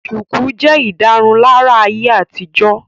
Shùkú jẹ́ ìdárunlárà ayé àtijọ́